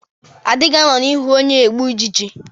A dịghị anọ n'ihu ọnya egbu ijiji.